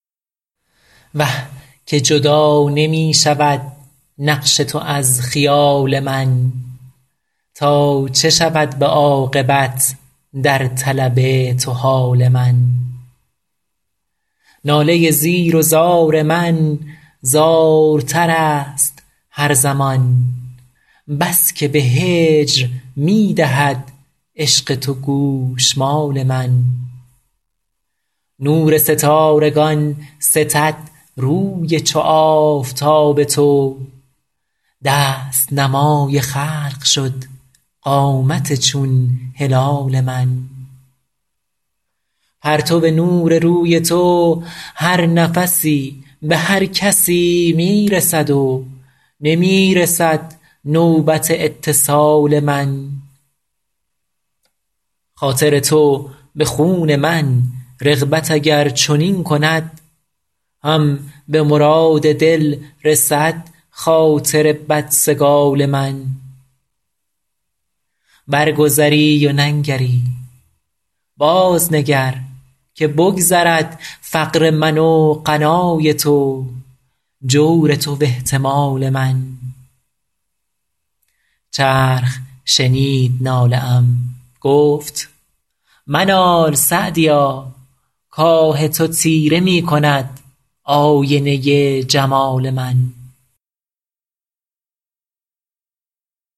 وه که جدا نمی شود نقش تو از خیال من تا چه شود به عاقبت در طلب تو حال من ناله زیر و زار من زارتر است هر زمان بس که به هجر می دهد عشق تو گوشمال من نور ستارگان ستد روی چو آفتاب تو دست نمای خلق شد قامت چون هلال من پرتو نور روی تو هر نفسی به هر کسی می رسد و نمی رسد نوبت اتصال من خاطر تو به خون من رغبت اگر چنین کند هم به مراد دل رسد خاطر بدسگال من برگذری و ننگری بازنگر که بگذرد فقر من و غنای تو جور تو و احتمال من چرخ شنید ناله ام گفت منال سعدیا کآه تو تیره می کند آینه جمال من